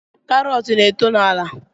Karọt na-eto n’ala